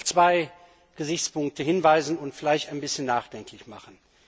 Ich will auf zwei Gesichtspunkte hinweisen und vielleicht ein bisschen nachdenklich machen.